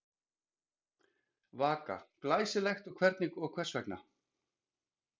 Vaka: Glæsilegt og hvers vegna?